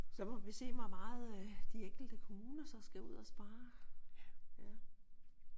Så må vi se hvor meget øh de enkelte kommuner så skal ud og spare